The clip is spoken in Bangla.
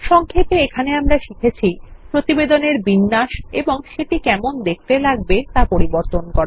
সংক্ষেপে এখানেআমরা শিখেছি প্রতিবেদনের বিন্যাস এবং সেটি কেমন দেখতে লাগবে তা পরিবর্তন করা